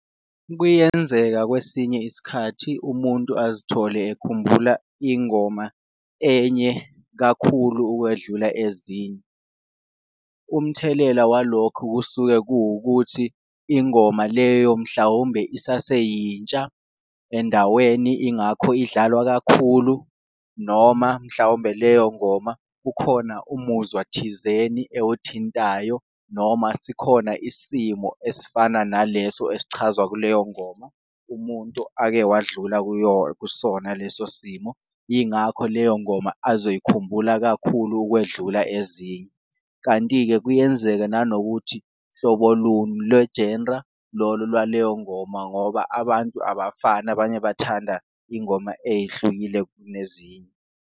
Kuyenzeka kwesinye isikhathi umuntu azithole ekhumbula ingoma enye kakhulu ukwedlula ezinye, umthelela walokho kusuke kuwukuthi ingoma leyo mhlawumbe isaseyintsha endaweni ingakho idlalwa kakhulu, noma mhlawumbe leyo ngoma kukhona umuzwa thizeni ewuthintayo. Noma sikhona isimo esifana naleso esichazwa kuleyo ngoma umuntu ake wadlula kusona leso simo, yingakho leyo ngoma azoyikhumbula kakhulu ukwedlula ezinye. Kanti-ke kuyenzeka nanokuthi hlobo luni lwe-genre lolo lwaleyo ngoma ngoba abantu abafani, abanye bathanda ingoma eyihlukile kunezinye.